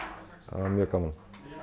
það var mjög gaman